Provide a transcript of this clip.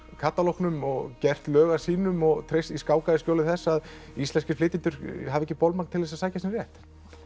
katalógnum og gert lög að sínum og skákað í skjóli þess að íslenskir flytjendur hafi ekki bolmagn til að sækja sinn rétt